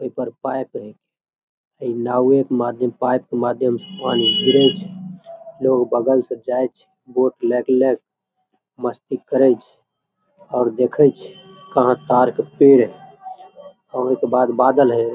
एकर pipe है ई नावे के माधियम पाइप के माधियम पानी गिरय छै लोग बगल से जाय छै बोट लेक लेक मस्ती करय छै और देखय छै कहां कार्क के पेड़ है ओके बाद बदल है।